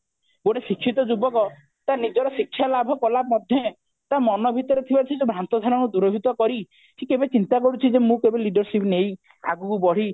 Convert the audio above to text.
ଗୋଟିଏ ଶିକ୍ଷିତ ଯୁବକ ତା ନିଜର ଶିକ୍ଷା ଲାଭ କଲା ମଧେ ସେଇ ଯୋଉ ଭ୍ରାନ୍ତ ଧାରଣା ଦୂରଭୀତ କରି ସେ କେବେ ଚିନ୍ତା କରୁଛି ଯେ ମୁଁ କେବେ leadership ନେଇ ଆଗକୁ ବଢି